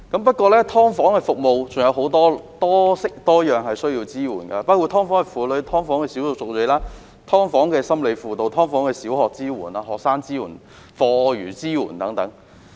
不過，"劏房"的服務需要多式多樣的支援，包括"劏房"的婦女、"劏房"的少數族裔、"劏房"的心理輔導、"劏房"的小學支援、學生支援及課餘支援等。